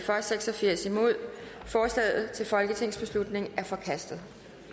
seks og firs forslaget til folketingsbeslutning er forkastet